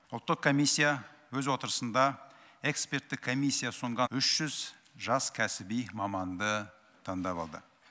ұлттық комиссия өз отырысында эксперттік комиссия ұсынған үш жүз жас кәсіби маманды таңдап алды